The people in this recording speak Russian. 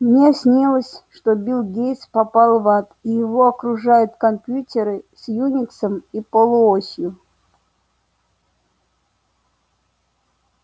мне снилось что билл гейтс попал в ад и его окружают компьютеры с юниксом и полуосью